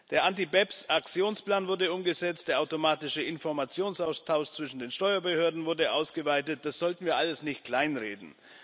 Der Anti BEPS Aktionsplan wurde umgesetzt, der automatische Informationsaustausch zwischen den Steuerbehörden wurde ausgeweitet das sollten wir alles nicht kleinreden.